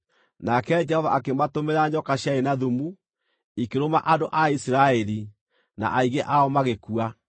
Nake Jehova akĩmatũmĩra nyoka ciarĩ na thumu; ikĩrũma andũ a Isiraeli, na aingĩ ao magĩkua.